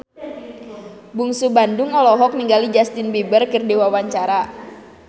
Bungsu Bandung olohok ningali Justin Beiber keur diwawancara